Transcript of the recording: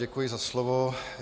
Děkuji za slovo.